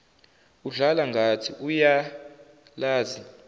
udlala ngathi uyalazi